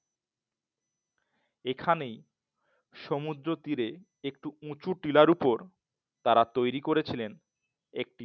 এখানেই সমুদ্র তীরে একটি উঁচু টিলার ওপর তারা তৈরি করেছিলেন একটি